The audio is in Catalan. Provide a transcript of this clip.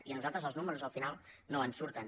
i a nosaltres els números al final no ens surten